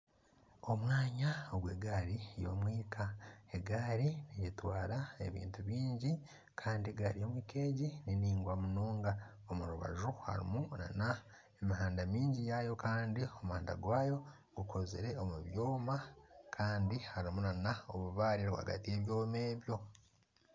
Omwanya ogwa egari y'omwika. Egari netwara ebintu bingi Kandi egari y'omwika egi ni ningwa munonga. Omurubaju harimu nana emihanda mingi yayo kandi omuhanda gwayo gukozire omu byooma kandi harimu nana obubaare rwagati ye byooma ebyo.